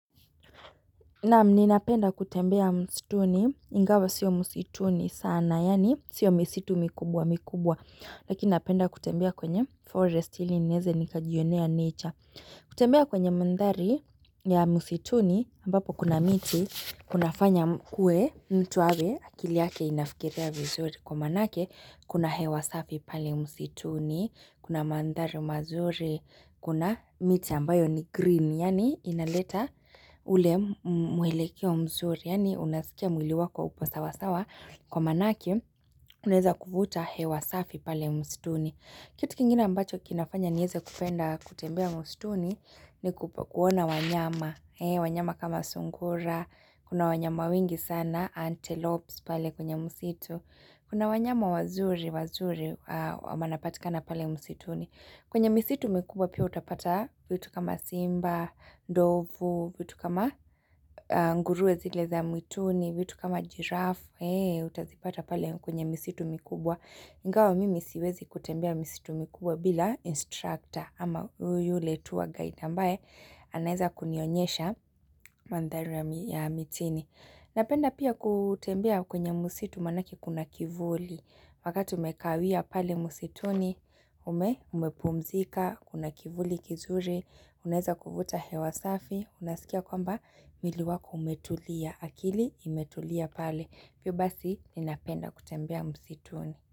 Na'am, ninapenda kutembea msituni, ingawa sio msituni sana, yaani sio misitu mikubwa mikubwa, lakini napenda kutembea kwenye forest ili neze nikajionea nature. Kutembea kwenye mandhari ya msituni, ambapo kuna miti, kuna fanya kue, mtu awe, akili yake inafikiria vizuri, kwa maanake, kuna hewa safi pale msituni, kuna mandhari mazuri, kuna miti ambayo ni green, yaani inaleta ule mwelekeo mzuri, yani unasikia mwili wako upo sawa sawa, kwa maanake unaeza kuvuta hewa safi pale msituni. Kitu kingine ambacho kinafanya nieze kupenda kutembea msituni ni kuona wanyama. Wanyama kama sungura, kuna wanyama wengi sana, antelopes pale kwenye msitu. Kuna wanyama wazuri, wazuri, wanapatikana pale msituni. Kwenye misitu mikubwa pia utapata vitu kama simba, ndovu, vitu kama nguruwe zile za mwituni, vitu kama jiraf, ee utazipata pale kwenye misitu mikubwa. Ingawa mimi siwezi kutembea misitu mikubwa bila instructor ama yule tour guide ambaye anaeza kunionyesha mandhari ya mitini. Napenda pia kutembea kwenye musitu maanake kuna kivuli, wakati umekawia pale musituni, umepumzika, kuna kivuli kizuri, unaeza kuvuta hewasafi, unasikia kwamba mwili wako umetulia, akili imetulia pale, pio basi ninapenda kutembea musituni.